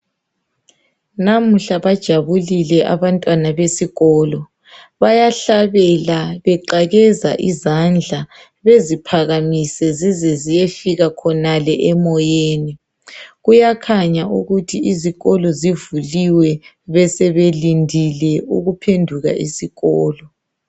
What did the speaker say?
Namuhla bajabulile abantwana besikolo bayahlabela beqakeza izandla beziphakamise zize ziyefika khonale emoyeni kuyakhanya ukuthi izikolo zivuliwe besebelindile ukuphenduka esikolo.